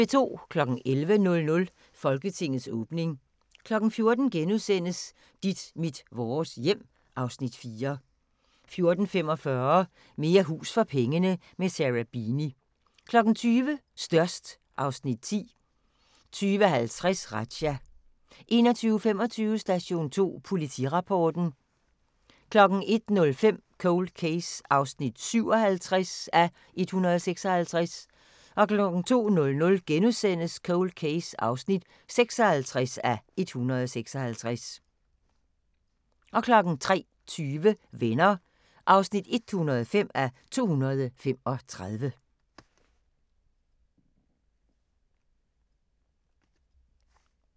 11:00: Folketingets åbning 14:00: Dit mit vores hjem (Afs. 4)* 14:45: Mere hus for pengene – med Sarah Beeny 20:00: Størst (Afs. 10) 20:50: Razzia 21:25: Station 2 Politirapporten 01:05: Cold Case (57:156) 02:00: Cold Case (56:156)* 03:20: Venner (105:235)